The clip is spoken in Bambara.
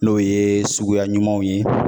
N'o ye suguya ɲumanw ye